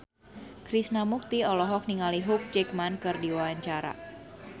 Krishna Mukti olohok ningali Hugh Jackman keur diwawancara